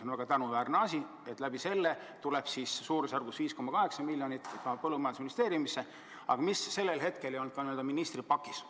On väga tänuväärne, et selle kaudu tuleb suurusjärgus 5,8 miljonit põllumajandusministeeriumisse, aga sellel hetkel see raha ministri pakis ei olnud.